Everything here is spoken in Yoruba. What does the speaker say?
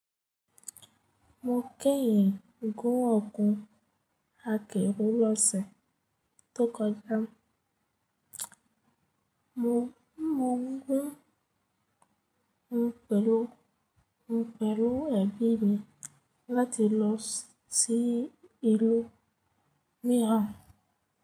Mo kẹ́yìn gún ọ̀gùn akèrù lọ́sẹ̀ tó kọjá. Mo gún ún pẹ̀lú, pẹ̀lú ẹ̀bi mi láti lọ sí ìlú míran.